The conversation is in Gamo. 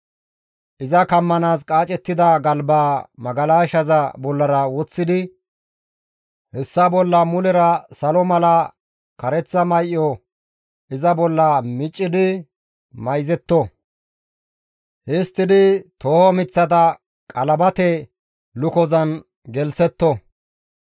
Iza kammanaas qaacettida galbaa magalashaza bollara woththidi hessa bolla mulera salo mala kareththa may7o iza bolla miccidi mayzetto; histtidi tooho miththata qalabate lukozan gelththetto.